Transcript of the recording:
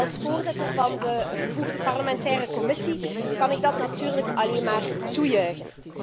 Als voorzitter van de bevoegde parlementaire commissie kan ik dat natuurlijk alleen maar toejuichen.